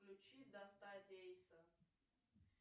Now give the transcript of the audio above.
включи достать эйса